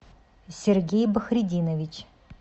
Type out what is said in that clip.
сергей бахридинович